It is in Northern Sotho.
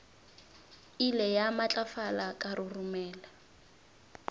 ile ya matlafala ka roromela